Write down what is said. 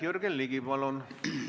Jürgen Ligi, palun!